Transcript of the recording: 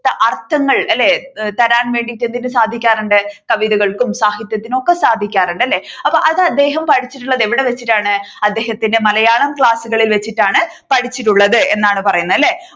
അർത്ഥങ്ങൾ അല്ലെ തരാൻ വേണ്ടി എന്തിനു സാധിക്കാറുണ്ട് കവിതകൾക്കും സാഹിത്യത്തിനും ഒക്കെ സാധിക്കാറുണ്ട് അല്ലെ അപ്പോ അത് അദ്ദേഹം പഠിച്ചിട്ടുള്ളത് എവിടെ വെച്ചിട്ടാണ് അദ്ദേഹത്തിന്റെ മലയാളം ക്ലാസ്സുകളിൽ വെച്ചിട്ടാണ് പഠിച്ചിട്ടുള്ളത് എന്നാണ് പറയുന്നത് അല്ലെ